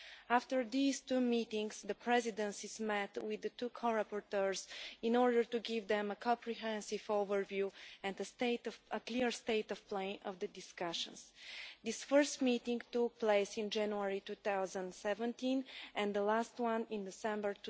After these two meetings the Presidencies met with the two co-rapporteurs in order to give them a comprehensive overview and a clear state of play of the discussions. The first meeting took place in January 2017 and the last one in December